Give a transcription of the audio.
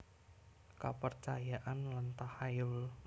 Kepercayaan lan tahayul